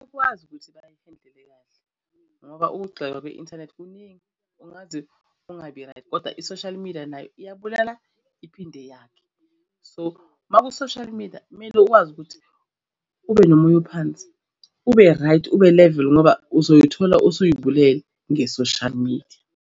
Ukwazi ukuthi bayihendile kahle ngoba ukugxeka kwi-inthanethi kuningi ungaze ungabi right, kodwa i-social media nayo iyabulala iphinde yakhe. So, uma ku-social media kumele ukwazi ukuthi ube nomoya ophansi, ube-right ube-level ngoba uzoyithola useyibulele nge-social media.